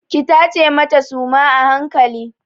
Ki tace mata suma a hankali!